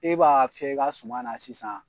E b'a fiyɛ i ka suma na sisan